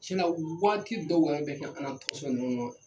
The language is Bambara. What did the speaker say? Cɛna waati dɔ yɛrɛ bɛ kɛ an ka tasɔn ninnu na